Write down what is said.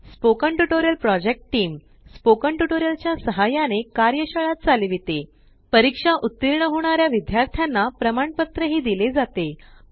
spoken tutorial project team spoken tutorial च्या सहाय्याने कार्यशाळा चालवितेपरीक्षेत उत्तीर्ण होणाऱ्या विद्यार्थ्यांना प्रमाणपत्र दिले जाते